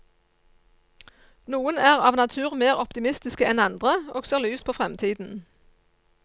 Noen er av natur mer optimistiske enn andre, og ser lyst på fremtiden.